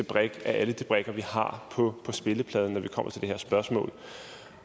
brik af alle de brikker vi har på spillepladen når det kommer til det her spørgsmål